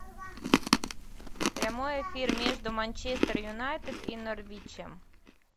прямой эфир между манчестер юнайтед и норвичем